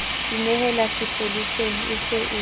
inehele sepoleseng e se e